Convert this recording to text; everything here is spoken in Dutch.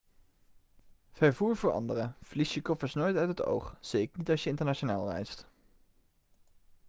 vervoer voor anderen verlies je koffers nooit uit het oog zeker niet als je internationaal reist